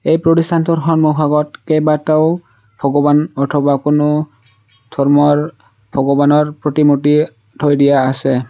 এই প্ৰতিষ্ঠানটোৰ সন্মুখ ভাগত কেইবাটাও ভগৱান অথবা কোনো ধৰ্মৰ ভগৱানৰ প্ৰতিমূৰ্তি থৈ দিয়া আছে।